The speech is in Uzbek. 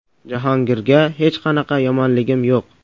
Jahongirga hech qanaqa yomonligim yo‘q.